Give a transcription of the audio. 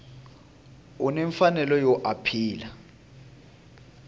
u ni mfanelo yo apila